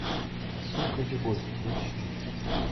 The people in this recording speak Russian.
сука любовь поищи